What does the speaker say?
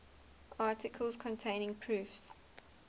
articles containing proofs